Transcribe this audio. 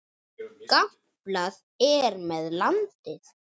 Gamblað er með landið.